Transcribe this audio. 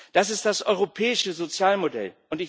das ist das europäische Sozialmodell.